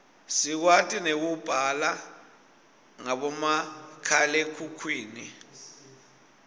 sikwati nekubala ngabomakhalekhukhwini